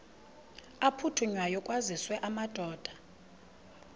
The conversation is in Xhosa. aphuthunywayo kwaziswe amadoda